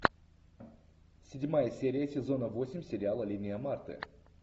седьмая серия сезона восемь сериала линия марты